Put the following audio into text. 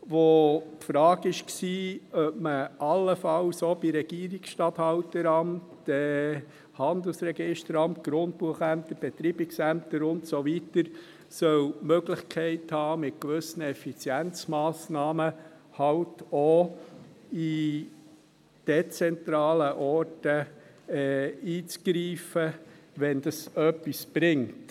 Die Frage war, ob man allenfalls auch bei den Regierungsstatthalterämtern, dem Handelsregisteramt, den Grundbuchämtern, Betreibungsämtern und so weiter die Möglichkeit haben soll, mit gewissen Effizienzmassnahmen auch an dezentralen Orten einzugreifen, wenn dies etwas bringt.